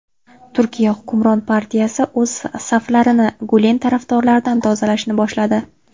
Turkiya hukmron partiyasi o‘z saflarini Gulen tarafdorlaridan tozalashni boshladi.